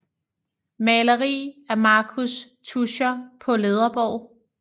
Maleri af Marcus Tuscher på Ledreborg